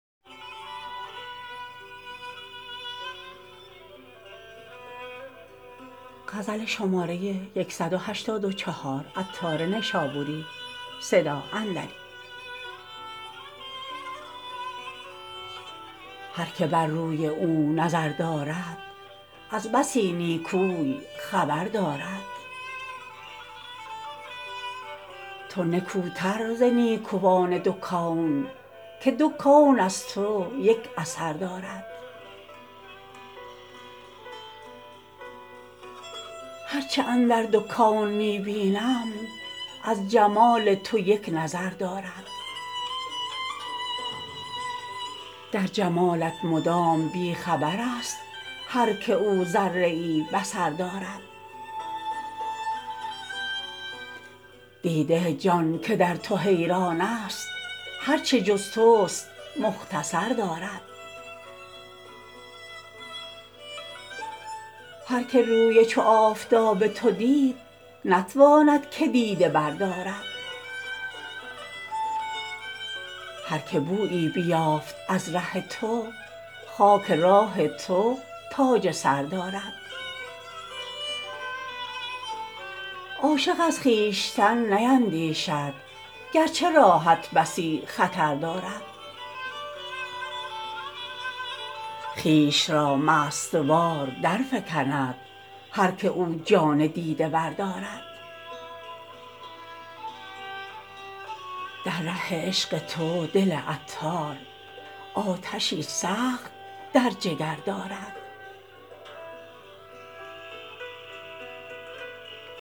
هر که بر روی او نظر دارد از بسی نیکوی خبر دارد تو نکوتر ز نیکوان دو کون که دو کون از تو یک اثر دارد هرچه اندر دو کون می بینم از جمال تو یک نظر دارد در جمالت مدام بیخبر است هر که او ذره ای بصر دارد دیده جان که در تو حیران است هرچه جز توست مختصر دارد هر که روی چو آفتاب تو دید نتواند که دیده بردارد هر که بویی بیافت از ره تو خاک راه تو تاج سر دارد عاشق از خویشتن نیندیشد گرچه راهت بسی خطر دارد خویش را مست وار درفکند هر که او جان دیده ور دارد در ره عشق تو دل عطار آتشی سخت در جگر دارد